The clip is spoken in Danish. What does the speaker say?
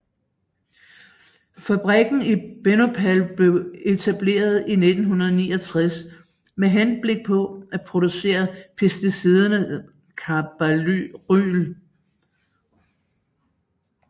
Fabrikken i Bhopal blev etableret i 1969 med henblik på at producere pesticidet carbaryl